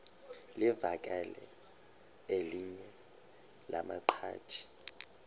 livakele elinye lamaqhaji